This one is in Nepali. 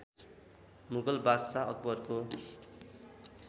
मुगल बादशाह अकबरको